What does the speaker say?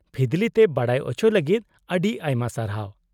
-ᱯᱷᱤᱫᱞᱤ ᱛᱮ ᱵᱟᱰᱟᱭ ᱚᱪᱚ ᱞᱟᱹᱜᱤᱫ ᱟᱹᱰᱤ ᱟᱭᱢᱟ ᱥᱟᱨᱦᱟᱣ ᱾